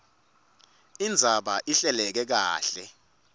indzaba ihleleke kahle